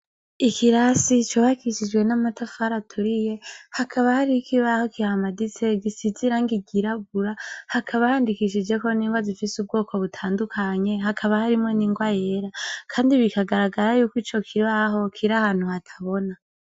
Ikirasi cubakishijwe n'amatafari aturiye hakaba har'ikibaho kihamaditse gisize irangi ryirabura, hakaba handikishijweko n'ingwa zifise ubwoko atandukanye hakaba harimwo n'ingwa yera kandi bikagaragara yuko icokibaho kir'ahantu hatabona.